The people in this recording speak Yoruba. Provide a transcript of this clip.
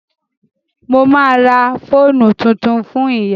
Mo ma ra fóònù tuntun fún ìyá